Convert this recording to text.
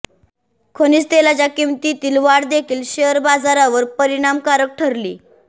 खनिज तेलाच्या किंमतीतील वाढ देखील शेअर बाजारावर परिणामकारक ठरली